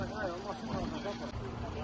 Maşın qaçdı, gəldi qaçdı.